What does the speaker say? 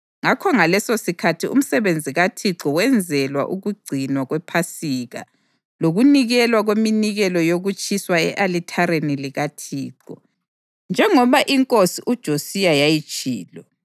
Ngakho ngalesosikhathi umsebenzi kaThixo wenzelwa ukugcinwa kwePhasika lokunikelwa kweminikelo yokutshiswa e-alithareni likaThixo, njengoba inkosi uJosiya yayitshilo.